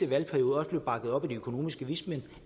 valgperiode bakket op af de økonomiske vismænd i